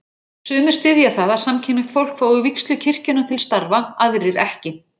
Sumir styðja það að samkynhneigt fólk fái vígslu kirkjunnar til starfa, aðrir ekki.